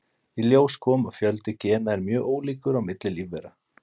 í ljós kom að fjöldi gena er mjög ólíkur á milli lífvera